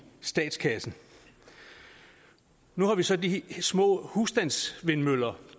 statskassen nu har vi så de små husstandsvindmøller